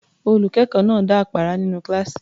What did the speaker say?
Olùkọ́ náà dá àpárá nínú kíláàsì.